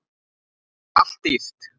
Og allt dýrt.